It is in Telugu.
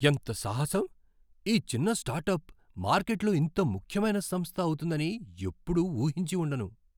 ఎంత సాహసం! ఈ చిన్న స్టార్టప్ మార్కెట్లో ఇంత ముఖ్యమైన సంస్థ అవుతుందని ఎప్పుడూ ఊహించి ఉండను.